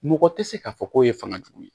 Mɔgɔ tɛ se k'a fɔ k'o ye fanga jugu ye